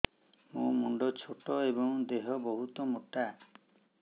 ମୋ ମୁଣ୍ଡ ଛୋଟ ଏଵଂ ଦେହ ବହୁତ ମୋଟା